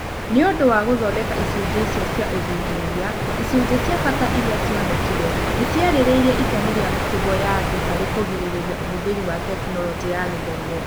Nĩ ũndũ wa gũthondeka icunjĩ icio cia ũthuthuria, icunjĩ cia bata iria cionekire n ciarĩrĩirie itemi rĩa mĩtugo ya andu harĩ kũgirĩrĩria ũhũthĩri wa Tekinoronjĩ ya Gĩthomo.